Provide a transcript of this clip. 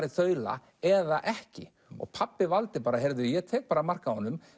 í þaula eða ekki pabbi valdi bara heyrðu ég tek bara mark á honum